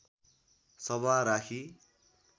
सभा राखी